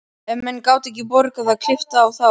Ef menn gátu ekki borgað var klippt á þá.